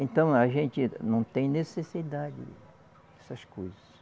Então, a gente não tem necessidade dessas coisas.